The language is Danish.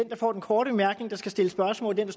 der får den korte bemærkning der skal stille spørgsmål og den